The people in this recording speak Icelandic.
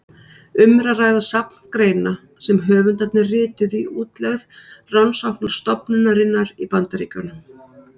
Um er að ræða safn greina sem höfundarnir rituðu í útlegð rannsóknarstofnunarinnar í Bandaríkjunum.